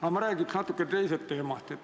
Aga ma räägiks natuke teisest teemast.